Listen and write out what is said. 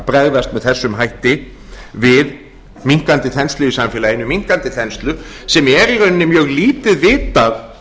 bregðast með þessum hætti við minnkandi þenslu í samfélaginu minnkandi þenslu sem er í rauninni mjög lítið vitað